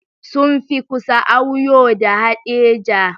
Sun fi kusa, Auyo da Haɗeja